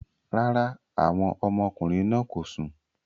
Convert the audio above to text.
Rárá, àwọn ọmọkùnrin náà kò sùn